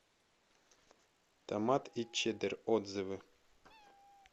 томат и чеддер отзывы